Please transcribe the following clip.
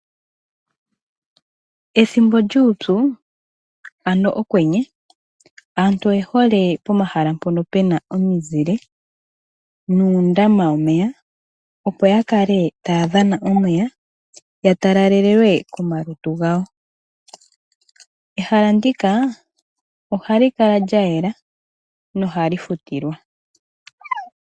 Ethimbo lyuupyu, ano okwenye, aantu oyehole pomahala mpono pe na omizile, nuundama womeya, opo yakale taya dhana omeya, ya talalalelwe komalutu gawo. Ehala ndika ohali kala lyayela, nohali futilwa.